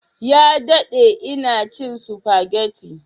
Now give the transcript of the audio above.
Ya dade ina cin spaghetti